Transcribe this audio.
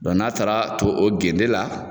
Dɔn n'a taara ton o gende la